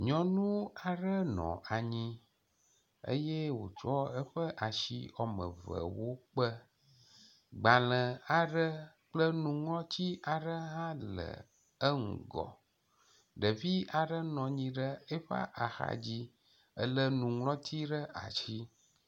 Nyɔnu aɖe nɔ anyi eye wotsɔ eƒe asi wɔme evewo kpe. Gbale aɖe kple nuŋlɔti aɖe hã le enugɔ. Ɖevi aɖe nɔ anyi ɖe eƒe axadzi le nuŋlɔti ɖe asi.